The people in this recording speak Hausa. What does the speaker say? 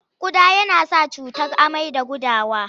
Ƙuda yana sa cutar amai da gudawa.